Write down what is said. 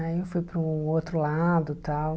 Aí eu fui para um outro lado e tal.